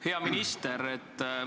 Hea minister!